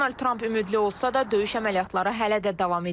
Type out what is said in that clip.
Donald Tramp ümidli olsa da döyüş əməliyyatları hələ də davam edir.